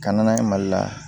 Ka na n'a ye mali la